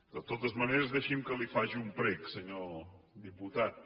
de totes maneres deixi’m que li faci un prec senyor diputat